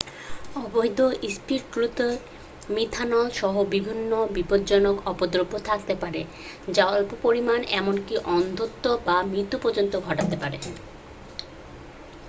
অবৈধ স্পিরিটগুলোতে মিথানল সহ বিভিন্ন বিপজ্জনক অপদ্রব্য থাকতে পারে যার অল্প পরিমান এমনকি অন্ধত্ব বা মৃত্যু পর্যন্ত ঘটাতে পারে